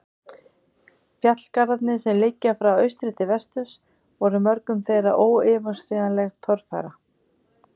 Fjallgarðarnir, sem liggja frá austri til vesturs, voru mörgum þeirra óyfirstíganleg torfæra.